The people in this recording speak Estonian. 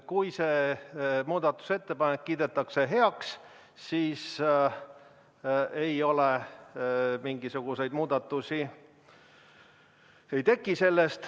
Kui see muudatusettepanek heaks kiidetakse, siis mingisuguseid muudatusi sellest ei teki.